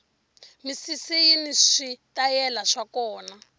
misisi yini switayele swa kona